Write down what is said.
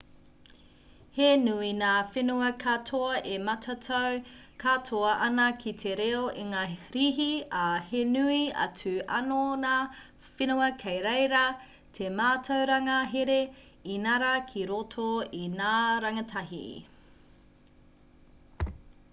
he nui ngā whenua katoa e matatau katoa ana ki te reo ingarihi ā he nui atu anō ngā whenua kei reira te mātauranga here inarā ki roto i ngā rangatahi